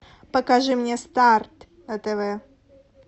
покажи мне старт на тв